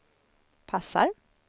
passar